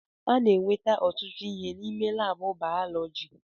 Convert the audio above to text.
A na-enweta ọtụtụ ihe n'ime laabụ bayọlọji.